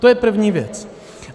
To je první věc.